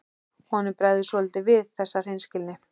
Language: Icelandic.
Honum bregður svolítið við þessa hreinskilni.